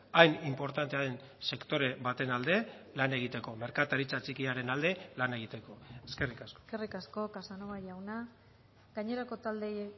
hain inportantea den sektore baten alde lan egiteko merkataritza txikiaren alde lan egiteko eskerrik asko eskerrik asko casanova jauna gainerako taldeei